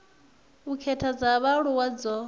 u khetha dza vhaaluwa dzo